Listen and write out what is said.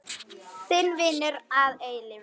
Þinn vinur að eilífu.